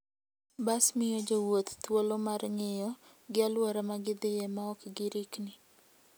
Bas miyo jowuoth thuolo mar ng'iyo gi alwora ma gidhiye maok girikni.